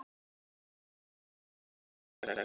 Þetta er nú hálf neyðarlegt.